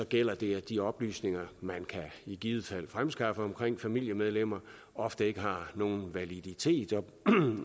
gælder det at de oplysninger man i givet fald kan fremskaffe om familiemedlemmer ofte ikke har nogen validitet og